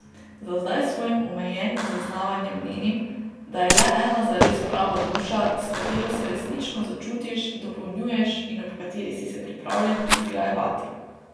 Za zdaj s svojim omejenim zaznavanjem menim, da je le ena zares prava duša, s katero se resnično začutiš, dopolnjuješ in ob kateri si se pripravljen izgrajevati.